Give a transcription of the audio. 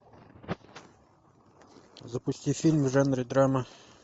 запусти фильм в жанре драма